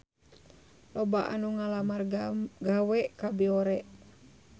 Loba anu ngalamar gawe ka Biore